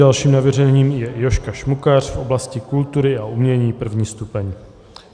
Dalším navrženým je Jožka Šmukař v oblasti kultury a umění, 1. stupeň.